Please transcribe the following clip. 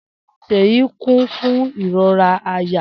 Seyi ku fun irora àyà.